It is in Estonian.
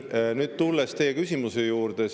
Nüüd tulen teie küsimuse juurde.